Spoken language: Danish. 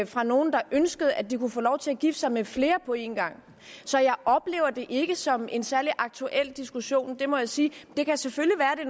fra nogen der ønskede at de kunne få lov til at gifte sig med flere på en gang så jeg oplever det ikke som en særlig aktuel diskussion må jeg sige det kan selvfølgelig være at det